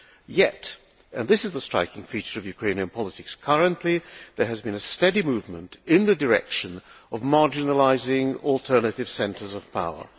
Yet and this is the striking feature of Ukrainian politics currently there has been a steady movement in the direction of marginalising alternative centres of power.